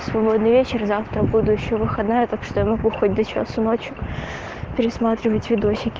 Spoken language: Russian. свободный вечер завтра буду ещё выходная а так что я могу хоть до часу ночи пересматривать видосики